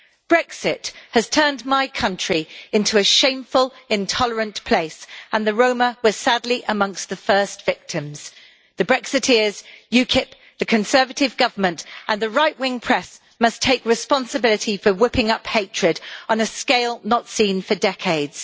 Brexit has turned my country into a shameful, intolerant place and the Roma were sadly amongst the first victims. The Brexiteers, UKIP, the Conservative Government and the right wing press must take responsibility for whipping up hatred on a scale not seen for decades.